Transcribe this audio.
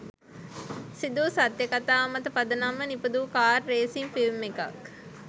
සිදුවූ සත්‍ය කතාවක් මත පදනම්ව නිපදවූ කාර් රේසින් ෆිල්ම් එකක්.